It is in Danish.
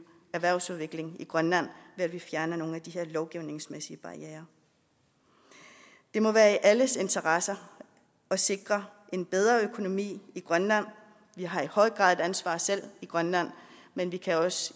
erhvervsudviklingen i grønland ved at vi fjerner nogle af de her lovgivningsmæssige barrierer det må være i alles interesse at sikre en bedre økonomi i grønland vi har i høj grad et ansvar selv i grønland men vi kan også